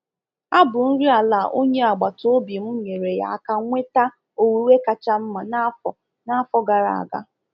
Abụ nri ala onye agbataobi m nyere ya aka nweta owuwe kacha mma n’afọ n’afọ gara aga.